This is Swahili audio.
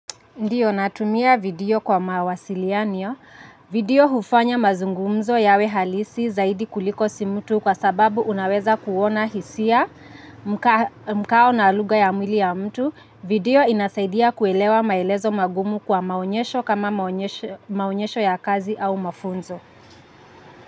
Ndiyo natumia video kwa mawasiliano. Video hufanya mazungumzo yawe halisi zaidi kuliko simu tu, kwa sababu unaweza kuona hisia mkao na lugha ya mwili ya mtu. Video inasaidia kuelewa maelezo magumu kwa maonyesho kama maonyesho ya kazi au mafunzo.